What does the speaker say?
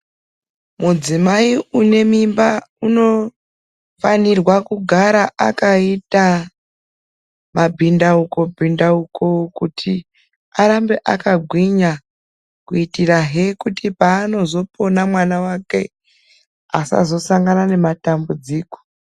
Mudzimai unemimba anefanirirwa kugara akaita mabhindauko kuitira kuti paanozopona mwana wake asazosangana nematambudziko